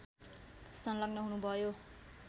संलग्न हुनुभयो